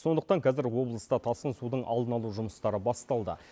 сондықтан қазір облыста тасқын судың алдын алу жұмыстары басталды